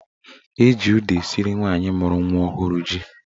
Eji ụda esiri nwaanyị mụrụ nwa ọhụrụ ji.